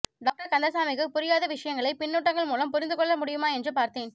doctor கந்தசாமிக்கு புரியாத விஷயங்களை பின்னூட்டங்கள் மூலம் புரிந்து கொள்ள முடியுமா என்று பார்த்தேன்